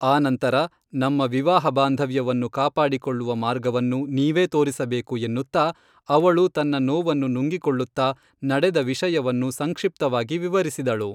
ಆ ನಂತರ ನಮ್ಮ ವಿವಾಹ ಬಾಂಧವ್ಯವನ್ನು ಕಾಪಾಡಿಕೊಳ್ಳುವ ಮಾರ್ಗವನ್ನು ನೀವೇ ತೋರಿಸ ಬೇಕು ಎನ್ನುತ್ತಾ ಅವಳು ತನ್ನ ನೋವನ್ನು ನುಂಗಿಕೊಳ್ಳುತ್ತಾ ನಡೆದ ವಿಷಯವನ್ನು ಸಂಕ್ಷಿಪ್ತವಾಗಿ ವಿವರಿಸಿದಳು